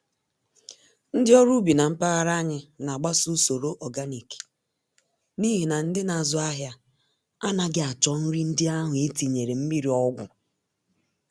Ndị ọrụ ubi na mpaghara anyị nagbaso usoro ọganik n'ihi na ndị nazụ ahịa anaghị achọ nri ndị ahụ etinyere mmírí ọgwụ